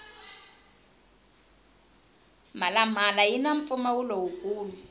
mhala mhala yini mpfumawulo wu kulu